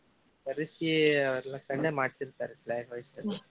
ಕರಿಸಿ ಅವ್ರ ಕಡೆಯಿಂದಾನ ಮಾಡಸಿರ್ತಾರಿ flag hoist ಅನ್ನ.